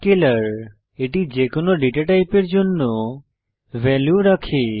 Scalar এটি যেকোনো data টাইপের জন্য ভ্যালু রাখে